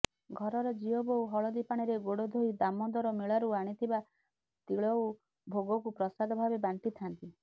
ଘରର ଝିଅବୋହୂ ହଳଦୀପାଣିରେ ଗୋଡ ଧୋଇ ଦାମୋଦର ମେଳାରୁ ଆଣିଥିବା ତିଳଉ ଭୋଗକୁ ପ୍ରସାଦ ଭାବେ ବାଣ୍ଟିିଥାନ୍ତି